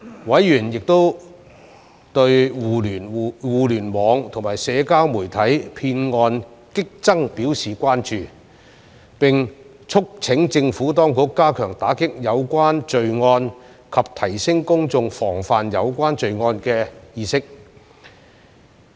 委員亦對互聯網和社交媒體騙案激增表示關注，並促請政府當局加強打擊有關罪案及提升公眾防範有關罪案的意識。